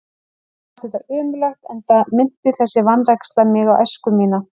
Mér fannst þetta ömurlegt, enda minnti þessi vanræksla mig á æsku mína.